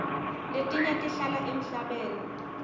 letinye tihlala emhlabeni